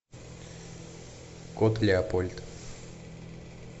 кот леопольд